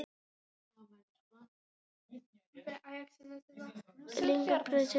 lengd og breidd staða er þannig gefin upp í gráðum